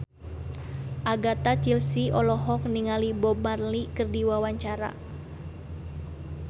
Agatha Chelsea olohok ningali Bob Marley keur diwawancara